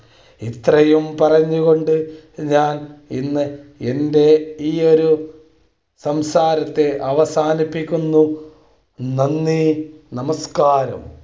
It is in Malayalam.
ഇത്രയും പറഞ്ഞുകൊണ്ട് ഞാൻ ഇന്ന് എന്റെ ഈ ഒരു സംസാരത്തെ അവസാനിപ്പിക്കുന്നു നന്ദി നമസ്ക്കാരം